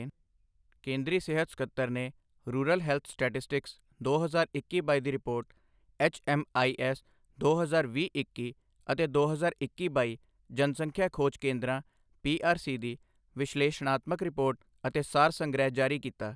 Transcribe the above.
ਕੇਂਦਰੀ ਸਿਹਤ ਸਕੱਤਰ ਨੇ ਰੂਰਲ ਹੈਲਥ ਸਟੈਟਿਸਟਿਕਸ ਦੋ ਹਜ਼ਾਰ ਇੱਕੀ ਬਾਈ ਦੀ ਰਿਪੋਰਟ, ਐੱਚਐੱਮਆਈਐੱਸ ਦੋ ਹਜ਼ਾਰ ਵੀਹ ਇੱਕੀ ਅਤੇ ਦੋ ਹਜ਼ਾਰ ਇੱਕੀ ਬਾਈ ਜਨਸੰਖਿਆ ਖੋਜ ਕੇਂਦਰਾਂ ਪੀਆਰਸੀ ਦੀ ਵਿਸ਼ਲੇਸ਼ਣਾਤਮਕ ਰਿਪੋਰਟ ਅਤੇ ਸਾਰ ਸੰਗ੍ਰਹਿ ਜਾਰੀ ਕੀਤਾ